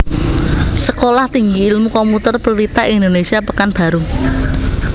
Sekolah Tinggi Ilmu Komputer Pelita Indonesia Pekanbaru